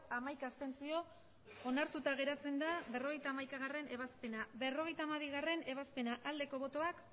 abstentzioak hamaika onartuta geratzen da berrogeita hamaikagarrena ebazpena berrogeita hamabigarrena ebazpena aldeko botoak